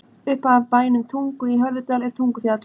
Upp af bænum Tungu í Hörðudal er Tungufjall.